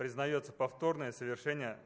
признается повторное совершение